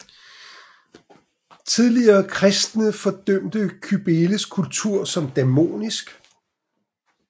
Tidlige kristne fordømte Kybeles kult som dæmonisk